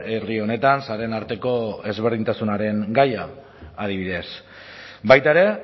herri honetan sareen arteko ezberdintasunaren gaia adibidez baita ere